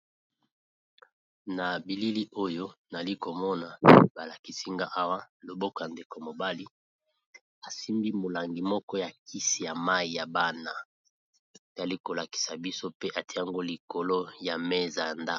na bilili oyo nali komona balakisinga awa loboko ya ndeko mobali asimbi molangi moko ya kisi ya mai ya bana tali kolakisa biso pe etiango likolo ya mesa ya tapis.